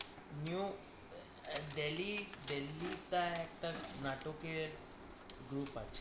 নিউদিল্লি তে নাটকের একটা group আছে